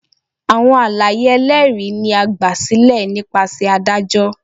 Awọn alaye ẹlẹri ni a gbasilẹ nipasẹ adajọ.